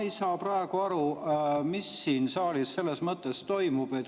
Ma ei saa praegu aru, mis siin saalis selles mõttes toimub.